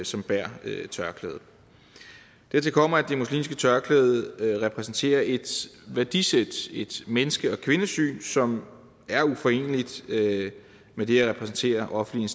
som bærer tørklæde dertil kommer at det muslimske tørklæde repræsenterer et værdisæt et menneske og kvindesyn som er uforeneligt med det at repræsentere offentlige